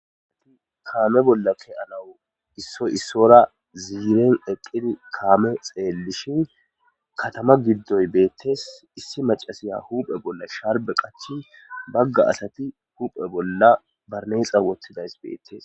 aati kaame bolla keyanawu issoy issora ziiren eqqidi kaame xeellishin katama giddoy beettes issi macasiya huphe bolla sharbe qachi bagga asati huphe bolla barneexa wottidays bettes